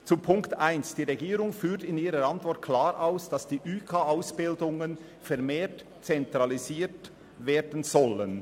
Zu Punkt 1: Die Regierung führt in ihrer Antwort klar aus, dass die Ausbildungen der überbetrieblichen Kurse (üK) vermehrt zentralisiert werden sollen.